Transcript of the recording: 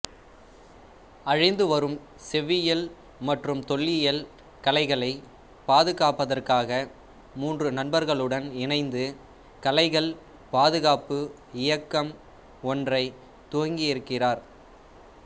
அழிந்து வரும் செவ்வியல் மற்றும் தொல்லியல் கலைகளை பாதுகாப்பதற்காக மூன்று நண்பர்களுடன் இணைந்து கலைகள் பாதுகாப்பு இயக்கம் ஒன்றைத் துவங்கியிருக்கிறார்